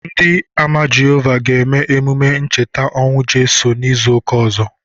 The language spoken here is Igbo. Ndị Ámá Jehovah ga-eme emume ncheta ọnwụ Jisos n'izu ụka ọzọ.